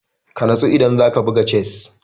Ka natsu idan za ka buga chess!